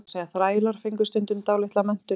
Meira að segja þrælar fengu stundum dálitla menntun.